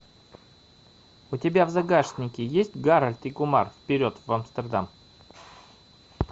у тебя в загашнике есть гарольд и кумар вперед в амстердам